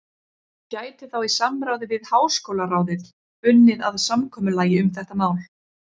gæti þá í samráði við háskólaráðið unnið að samkomulagi um þetta mál.